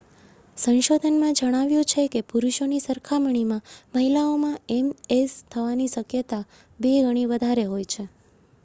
સંશોધનમાં જણાવ્યુ છે કે પુરુષોની સરખામણીમાં મહિલાઓમાં એમએસ થવાની શક્યતા બે ગણી વધારે હોય છે